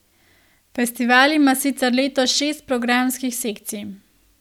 Festival ima sicer letos šest programskih sekcij.